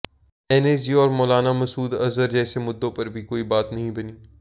NSG और मौलाना मसूद अजहर जैसे मुद्दों पर भी कोई बात नहीं बनी